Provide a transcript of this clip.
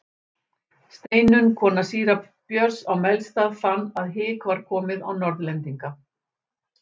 Steinunn kona síra Björns á Melstað fann að hik var komið á Norðlendinga.